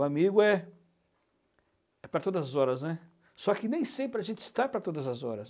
O amigo é é para todas as horas, né? Só que nem sempre a gente está para todas as horas.